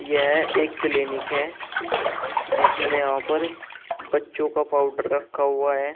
यह एक क्लीनिक है जिसमें यहां पर बच्चों का पाउडर रखा हुआ है।